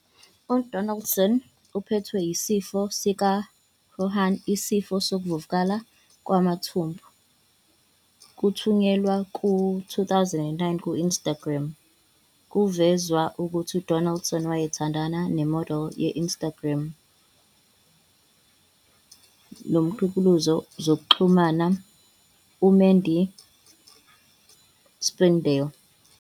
UDonaldson uphethwe yisifo sikaCrohn, isifo sokuvuvukala kwamathumbu. Kokuthunyelwe ku-2019 ku-Instagram, kwavezwa ukuthi uDonaldson wayethandana nemodeli ye-Instagram nomgqugquzeli wezokuxhumana uMaddy Spidell.